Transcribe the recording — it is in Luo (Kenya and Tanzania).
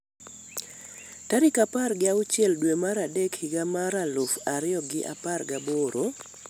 tarik apar gi auchiel dwe mar adek higa mar aluf ariyo gi apar gaboro